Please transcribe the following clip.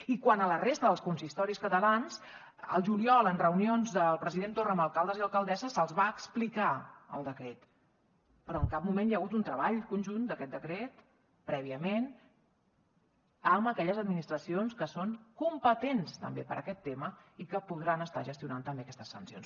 i quant a la resta dels consistoris catalans al juliol en reunions del president torra amb alcaldes i alcaldesses se’ls va explicar el decret però en cap moment hi ha hagut un treball conjunt d’aquest decret prèviament amb aquelles administracions que són competents també per a aquest tema i que podran estar gestionant també aquestes sancions